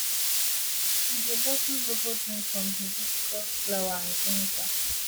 she dey bottle zobo drink from hibiscus flower and ginger